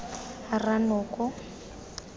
rranoko